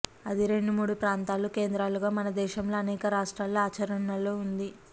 అది రెండు మూడు ప్రాంతాలు కేంద్రాలుగా మనదేశంలో అనేక రాష్ట్రాలలో ఆచరణలో ఉంది